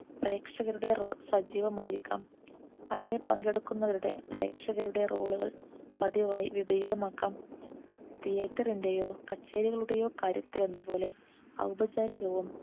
പ്രേക്ഷകരുടെ Role സജീവമായിരിക്കാം അവിടെ പങ്കെടുക്കുന്നവരുടെ പ്രേക്ഷകരുടെ Role കൾ പതിവായി വിപരീതമാക്കാം Theatre ന്റെയോ കച്ചേരികളുടെയോ കാര്യത്തിൽ എന്ന പോലെ ഔപചാരികവും